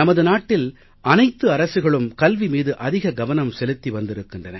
நமது நாட்டில் அனைத்து அரசுகளும் கல்வி மீது அதிக கவனம் செலுத்தி வந்திருக்கின்றன